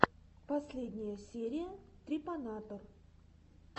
последняя серия трепанатор